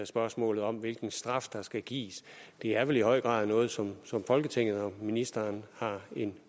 spørgsmålet om hvilken straf der skal gives det er vel i høj grad noget som folketinget og ministeren har en